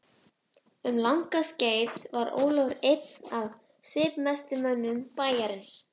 Um langt skeið var Ólafur einn af svipmestu mönnum bæjarins.